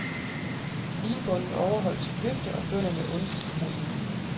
Vinbonden overholdt sit løfte, og bønderne undgik ruin.